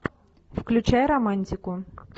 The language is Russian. включай романтику